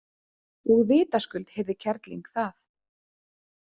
Og vitaskuld heyrði kerling það.